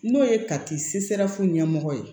N'o ye kati ɲɛmɔgɔ ye